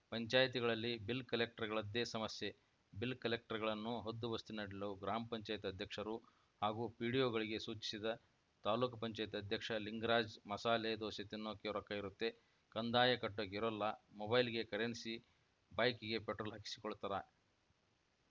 ಪಂಚಾಯ್ತಿಗಳಲ್ಲಿ bill ಕಲೆಕ್ಟರ್‌ಗಳದ್ದೇ ಸಮಸ್ಯೆ bill ಕಲೆಕ್ಟರ್‌ಗಳನ್ನು ಹದ್ದುಬಸ್ತಿನಲ್ಲಿಡಲು ಗ್ರಾಮ ಪಂಚಾಯತ್ ಅಧ್ಯಕ್ಷರು ಹಾಗೂ ಪಿಡಿಒಗಳಿಗೆ ಸೂಚಿಸಿದ ತಾಲ್ಲುಕು ಪಂಚಾಯತ್ ಅಧ್ಯಕ್ಷ ಲಿಂಗರಾಜ್‌ ಮಸಾಲೆ ದೋಸೆ ತಿನ್ನೋಕೆ ರೊಕ್ಕ ಇರುತ್ತೆ ಕಂದಾಯ ಕಟ್ಟೋಕೆ ಇರೋಲ್ಲ ಮೊಬೈಲ್‌ಗೆ ಕರೆನ್ಸಿ ಬೈಕ್‌ಗೆ ಪೆಟ್ರೋಲ್‌ ಹಾಕಿಸಿಕೊಳ್ತಾರೆ